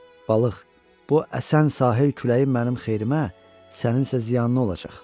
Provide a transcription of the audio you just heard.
Balıq, bu əsən sahil küləyi mənim xeyrimə, sənin isə ziyanına olacaq.